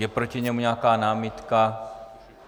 Je proti němu nějaká námitka?